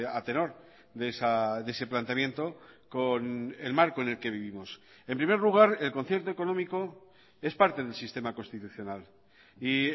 a tenor de ese planteamiento con el marco en el que vivimos en primer lugar el concierto económico es parte del sistema constitucional y